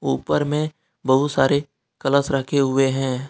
ऊपर में बहुत सारे कलश रखे हुए हैं।